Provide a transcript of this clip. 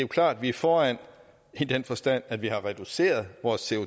klart at vi er foran i den forstand at vi har reduceret vores